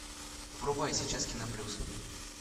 врубай сейчас кино плюс